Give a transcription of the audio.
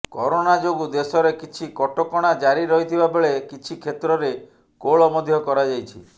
corona ଯୋଗୁ ଦେଶରେ କିଛି କଟକଣା ଜାରି ରହିଥିବା ବେଳେ କିଛି କ୍ଷେତ୍ରରେ କୋହଳ ମଧ୍ୟ କରାଯାଇଛି